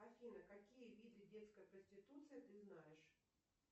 афина какие виды детской проституции ты знаешь